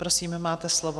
Prosím, máte slovo.